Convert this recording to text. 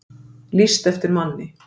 Lýst eftir manni